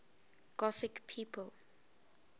gothic people